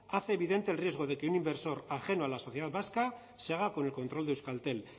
hace evidente del riesgo de que un inversor ajeno a la sociedad vasca se haga con el control de euskaltel